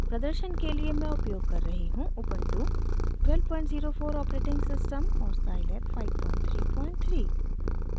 प्रदर्शन के लिए मैं उपयोग कर रही हूँ उबन्टु 1204 ऑपरेटिंग सिस्टम और scilab 533